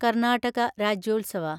Karnataka Rajyotsava